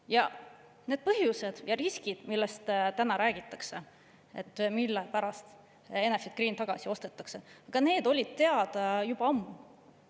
Ja need põhjused ja riskid, millest täna räägitakse, mille pärast Enefit Green tagasi ostetakse, olid teada juba ammu.